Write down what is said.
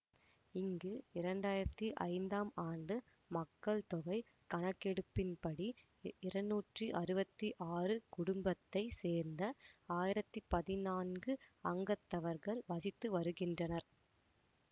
இங்கு இரண்டாயிரத்தி ஐந்தாம் ஆண்டு மக்கள் தொகை கணக்கெடுப்பின்படி இருநூற்றி அறுவத்தி ஆறு குடும்பத்தை சேர்ந்த ஆயிரத்தி பதினான்கு அங்கத்தவர்கள் வசித்து வருகின்றனர்